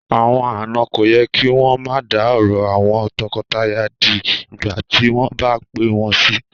Àwọn àna kò yẹ kí wọn ma da sí òrò àwọn toko-toya di ìgbà tí wọn bá pé wón sí